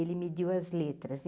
Ele mediu as letras.